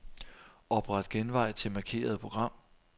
Opret genvej til markerede program.